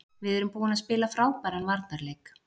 Við erum búin að spila frábæran varnarleik.